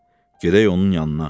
Gedək onun yanına.